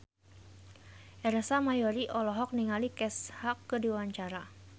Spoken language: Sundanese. Ersa Mayori olohok ningali Kesha keur diwawancara